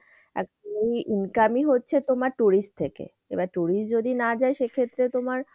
এই income ই হচ্ছে তোমার tourist থেকে। এবার tourist যদি না যায় সে ক্ষেত্রে তোমার,